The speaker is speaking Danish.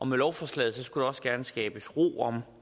med lovforslaget skulle der også gerne skabes ro om